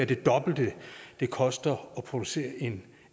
det dobbelte det koster at producere en